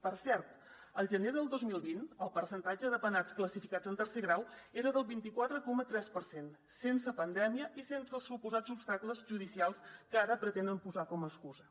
per cert al gener del dos mil vint el percentatge de penats classificats en tercer grau era del vint quatre coma tres per cent sense pandèmia i sense els suposats obstacles judicials que ara pretenen posar com a excusa